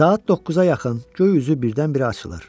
Saat 9-a yaxın göy üzü birdən-birə açılır.